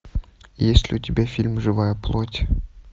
есть ли у тебя фильм живая плоть